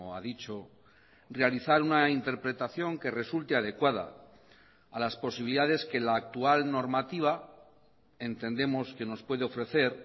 ha dicho realizar una interpretación que resulte adecuada a las posibilidades que la actual normativa entendemos que nos puede ofrecer